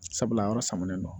Sabula a yɔrɔ samanen don